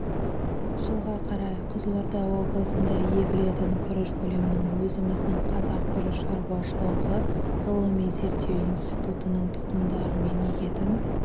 жылға қарай қызылорда облысында егілетін күріш көлемінің өзіміздің қазақ күріш шаруашылығы ғылыми зерттеу институтының тұқымдарымен егетін